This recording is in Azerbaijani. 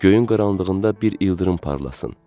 Göylərin qaranlığında bir ildırım parlasın.